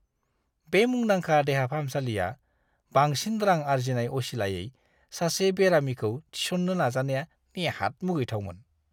बे मुंदांखा देहा फाहामसालिया बांसिन रां आर्जिनाय असिलायै सासे बेरामिखौ थिसननो नाजानाया नेहात मुगैथावमोन!